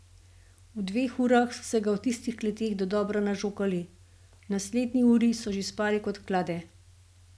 V dveh urah so se ga v tistih kleteh dodobra nažokali, v naslednji uri so že spali kot klade.